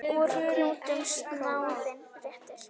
Úr kútnum snáðinn réttir.